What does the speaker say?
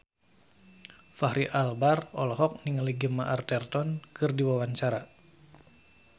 Fachri Albar olohok ningali Gemma Arterton keur diwawancara